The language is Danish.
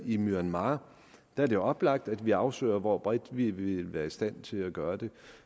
i myanmar der er det oplagt at vi afsøger hvor bredt vi vil være i stand til at gøre det